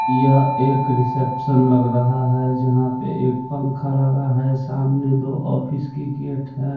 यह एक रिसेप्शन लग रहा है जहाँ पे एक पंखा लगा है और सामने दो ऑफिस की गेट है।